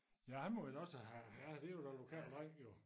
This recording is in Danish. Ja han må vel også have ja det jo den lokale dreng jo